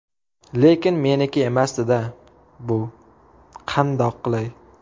Lekin meniki emasdi-da bu, qandoq qilay?!